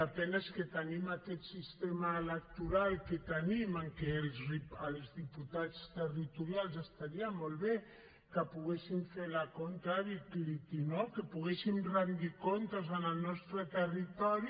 la pena és que tenim aquest sistema electoral que tenim en què els diputats territorials estaria molt bé que poguessin fer l’accountability no que poguessin retre comptes en el nostre territori